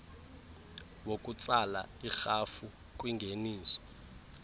wokutsala irhafu kwingeniso